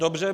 Dobře.